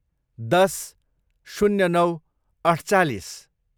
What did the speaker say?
दस, शून्य नौ, अठचालिस